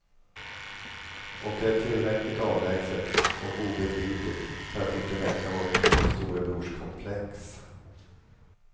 Och det är tillräckligt avlägset och obegripligt för att inte väcka vårt storebrorskomplex.